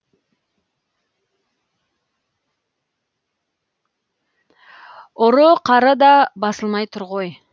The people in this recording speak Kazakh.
ұры қары да басылмай тұр ғой